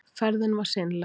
Ferðin var seinleg.